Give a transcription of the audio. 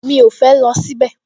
Mi ò fẹ́ lọ síbẹ̀